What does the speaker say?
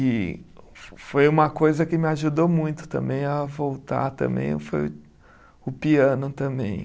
E fo foi uma coisa que me ajudou muito também a voltar também, foi o piano também.